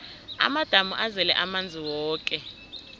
amadamu azele amanzi woke